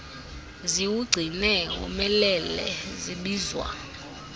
ziwugcine womelele zibizwa